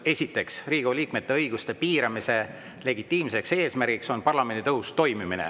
Esiteks, Riigikogu liikmete õiguste piiramise legitiimne eesmärk on parlamendi tõhus toimimine.